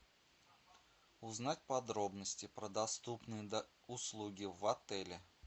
узнать подробности про доступные услуги в отеле